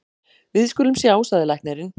Við skulum sjá, sagði læknirinn.